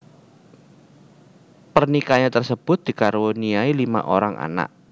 Pernikahannya tersebut dikaruniai lima orang anak